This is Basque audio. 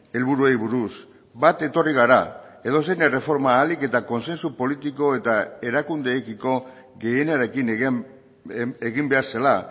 helburuei buruz bat etorri gara edozein erreforma ahalik eta kontsensu politiko eta erakundeekiko gehienarekin egin behar zela